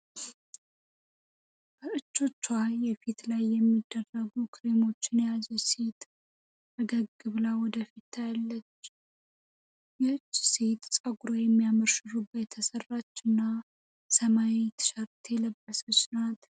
በእጆቿ የፊት ላይ የሚደረጉ ክሬሞችን የያዘች ሴት ፈገግ ብላ ወደፊት ታያለች ይህቺ። ሴት ጸጉሯን የሚያምር ሹሩባ የተሰራች እና ሰማያዊ ቲሸርት የለበሰች ናት።